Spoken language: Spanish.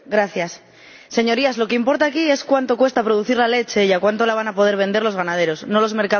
Señorías, lo que importa aquí es cuánto cuesta producir la leche y a cuánto la van a poder vender los ganaderos, no los mercados de valores.